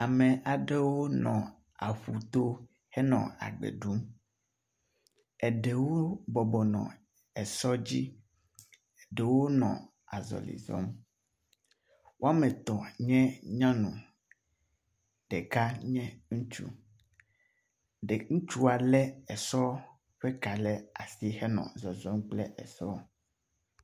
Ame aɖewo nɔ aƒu to henɔ agbe ɖum. Eɖewo bɔbɔ nɔ sɔ dzi, eɖewo nɔ azɔli zɔm. Wome etɔ̃ nye nyɔnu, ɖeka nye ŋutsu, ɖe ŋutsua lé esɔ̃a ƒe ka ɖe asi henɔ zɔzɔm kple esɔ̃.